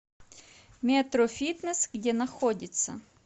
метрофитнесс где находится